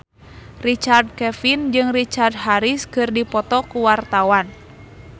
Richard Kevin jeung Richard Harris keur dipoto ku wartawan